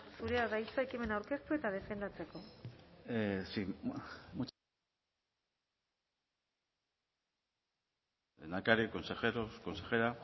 zurea da hitza ekimena aurkeztu eta defendatzeko sí lehendakari consejero consejera